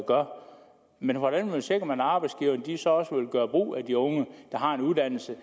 gør men hvordan sikrer man at arbejdsgiverne så også vil gøre brug af de unge der har en uddannelse